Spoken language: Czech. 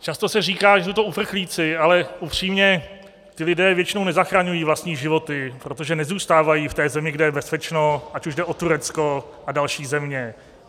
Často se říká, že jsou to uprchlíci, ale upřímně ti lidé většinou nezachraňují vlastní životy, protože nezůstávají v té zemi, kde je bezpečno, ať už jde o Turecko a další země.